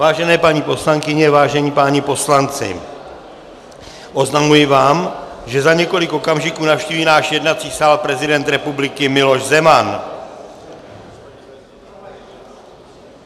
Vážené paní poslankyně, vážení páni poslanci, oznamuji vám, že za několik okamžiků navštíví náš jednací sál prezident republiky Miloš Zeman.